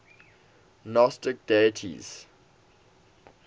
gnostic deities